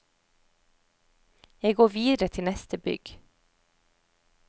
Jeg går videre til neste bygg.